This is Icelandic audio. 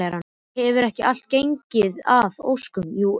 Hefur ekki allt gengið að óskum, jú auðvitað.